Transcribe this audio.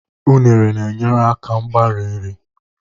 unere na-enyere aka mgbari nri